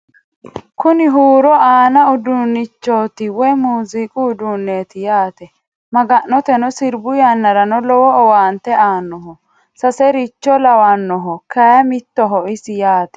kuni huuro aanno uduunnichooti woy muziiqu uduunneeti yaate maga'nateno sirbu yannarano lowo owaante aannoho sasercho lawannoho kayi mittoho isi yaate